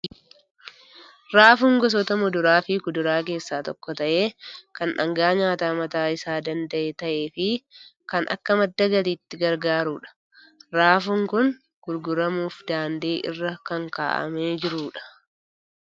Raafuun gosoota muduraa fi kuduraa keessaa tokko ta'ee, kan dhaangaa nyaataa mataa isaa danda'e ta'ee fi kan akka madda galiitti gargaarudha. Raafuun kun gurguramuuf daandii irra kan kaa'amee jiru dha.